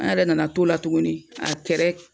An yɛrɛ nana to la tuguni a kɛrɛ